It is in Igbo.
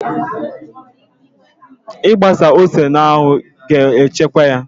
Ị gbasa ose n'anwụ ga-echekwaa ya